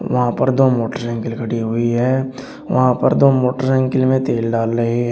वहां पर दो मोटरसाइकिल खड़ी हुई हैं वहां पर दो मोटरसाइकिल में तेल डाल रहे हैं।